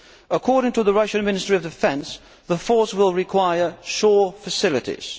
According to the Russian Minister of Defence, the force will require shore facilities.